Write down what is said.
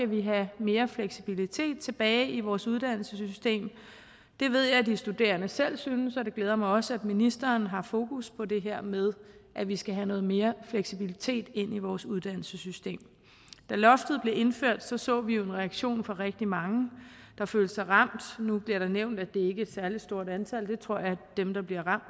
vi have mere fleksibilitet tilbage i vores uddannelsessystem det ved jeg at de studerende selv synes og det glæder mig også at ministeren har fokus på det her med at vi skal have noget mere fleksibilitet ind i vores uddannelsessystem da loftet blev indført så så vi jo en reaktion fra rigtig mange der følte sig ramt nu bliver der nævnt at det ikke er et særlig stort antal jeg tror at dem der bliver ramt